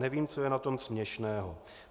Nevím, co je na tom směšného."